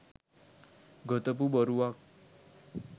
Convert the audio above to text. ගොතපු බොරුවක්.